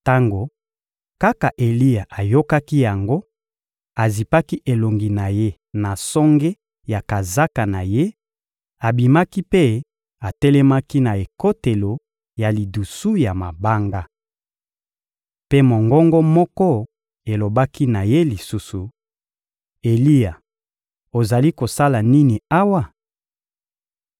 Tango kaka Eliya ayokaki yango, azipaki elongi na ye na songe ya kazaka na ye, abimaki mpe atelemaki na ekotelo ya lidusu ya mabanga. Mpe mongongo moko elobaki na ye lisusu: — Eliya, ozali kosala nini awa?